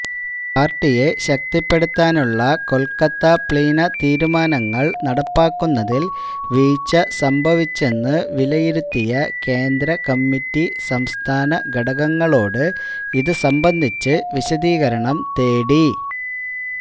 പാർട്ടിയെ ശക്തിപ്പെടുത്താനുള്ള കൊൽക്കത്ത പ്ലീന തീരുമാനങ്ങൾ നടപ്പാക്കുന്നതിൽ വീഴ്ച സംഭവിച്ചെന്ന് വിലയിരുത്തിയ കേന്ദ്രകമ്മിറ്റി സംസ്ഥാനഘടകങ്ങളോട് ഇതുസംബന്ധിച്ച് വിശദീകരണം തേടി